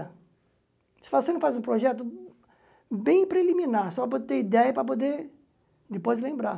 Você fala, você não faz um projeto bem preliminar, só para ter ideia e para poder depois lembrar.